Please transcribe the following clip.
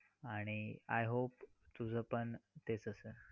आणि I hope तुझं पण तेच असेल.